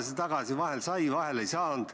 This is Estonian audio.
Nendega on kolm probleemi.